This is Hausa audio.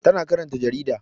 Tana karanta jarida